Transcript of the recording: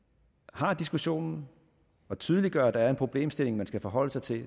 har diskussionen og tydeliggør at der er en problemstilling man skal forholde sig til